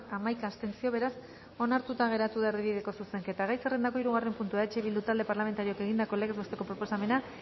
hamaika abstentzio beraz onartuta geratu da erdibideko zuzenketa gai zerrendako hirugarren puntua eh bildu talde parlamentarioak egindako legez besteko proposamena